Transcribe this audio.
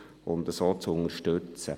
Er ist deshalb zu unterstützen.